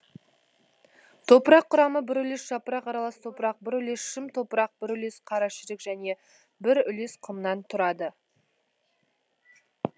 топырақ құрамы бір үлес жапырақ аралас топырақ бір үлес шым топырақ бір үлес қарашірік және бір үлес құмнан тұрады